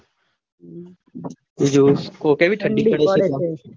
બીજું કો કેવી ઠંડી પડે તામર?